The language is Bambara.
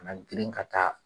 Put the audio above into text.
Ka na girin ka taa